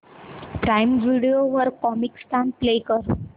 prime video वर Comicstaan play कर